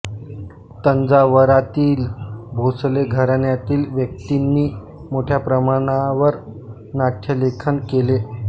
तंजावरातील भोसले घराण्यातील व्यक्तींनी मोठ्या प्रमाणावर नाट्यलेखन केले